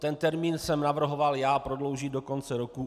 Ten termín jsem navrhoval já, prodloužit do konce roku.